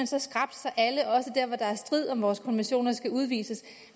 så skrapt at alle også der hvor der er strid om vores konventioner skal udvises